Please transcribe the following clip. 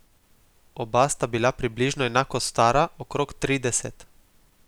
Oba sta bila približno enako stara, okrog trideset.